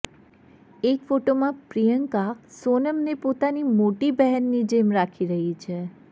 એક ફોટોમાં પ્રિયંકા સોનમને પોતાની મોટી બહેનની જેમ રાખી રહી છે